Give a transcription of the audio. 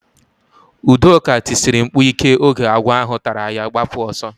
Udoka tisiri mkpu ike oge agwọ ahụ tara ya gbapụ oso